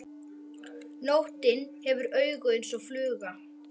Nóttin hefur augu eins og fluga.